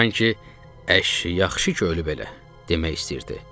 Sanki əş, yaxşı ki ölüb elə, demək istəyirdi.